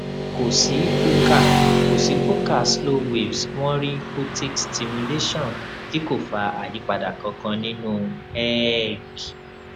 ko si focal ko si focal slow waves won ri photic stimulation ti ko fa ayipada kankan ninu eeg